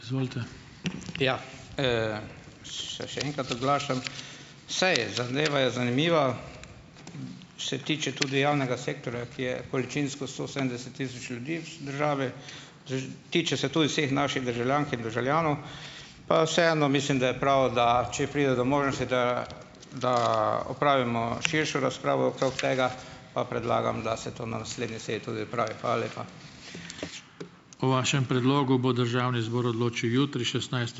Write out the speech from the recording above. Seje, zadeva je zanimiva. Se tiče tudi javnega sektorja, ki je količinsko sto sedemdeset tisoč ljudi državi. Tiče se tudi vseh naših državljank in državljanov. Pa vseeno mislim, da je prav, da če pride do možnosti, da, da opravimo širšo razpravo okrog tega, pa predlagam, da se to na naslednji seji tudi opravi. Hvala lepa.